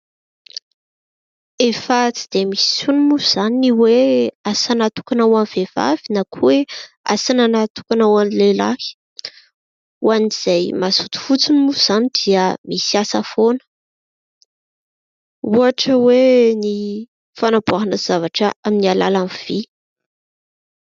Efa tsy dia misy intsony moa izany ny hoe asa natokana ho an'ny vehivavy na koa hoe asa natokana ho an'ny lehilahy. Ho an'izay mazoto fotsiny moa izany dia misy asa foana. Ohatra hoe ny fanamboarana zavatra amin'ny alalan'ny vy.